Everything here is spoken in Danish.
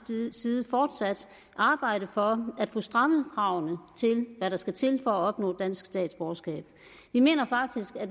side fortsat arbejde for at få strammet kravene til hvad der skal til for at opnå dansk statsborgerskab vi mener faktisk at